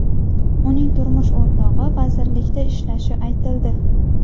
Uning turmush o‘rtog‘i vazirlikda ishlashi aytildi.